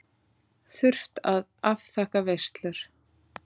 Þurft að afþakka veislur.